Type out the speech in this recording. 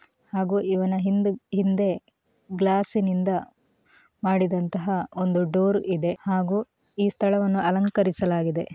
ಹಾಗೂ ಇವನ ಹಿಂದ್ ಹಿಂದೆ ಗ್ಲಾಸಿ ನಿಂದ ಮಾಡಿದಂತಹ ಒಂದು ಡೋರ್ ಇದೆ ಹಾಗೂ ಈ ಸ್ಥಳವನ್ನು ಅಲಂಕರಿಸಲಾಗಿದೆ.